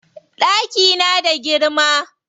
Ɗaki na da girma.